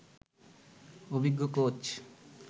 অভিজ্ঞ কোচ